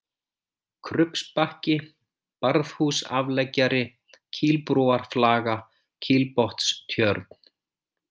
Krubbsbakki, Barðhúsafleggjari, Kílbrúarflaga, Kílbotnstjörn